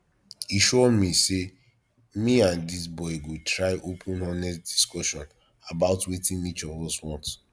e sure me sey me and dis boy go try open honest discussion about wetin each of us want